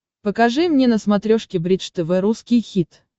покажи мне на смотрешке бридж тв русский хит